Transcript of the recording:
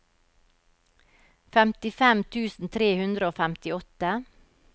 femtifem tusen tre hundre og femtiåtte